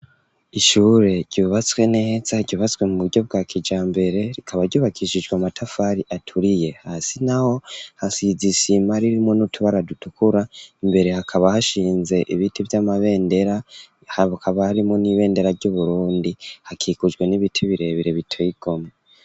Ishure, ryubatswe neza, ryubatswe mu buryo, bwa kijambere; rikaba, ryubakishijwe, amatafari aturiye; hasi naho, hasize isima, ririmwo n'utubara, dutukura; imbere, hakaba hashinze ibiti, vy'amabendera, hakaba harimwo, n'ibendera ry'Uburundi; hakikujwe n'ibiti, birebire, biteye igomwe.